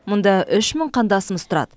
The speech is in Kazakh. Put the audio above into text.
мұнда үш мың қандасымыз тұрады